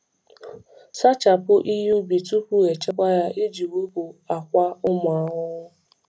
Sachapụ ihe ubi tupu echekwa ya iji wepụ akwa ụmụ ahụhụ.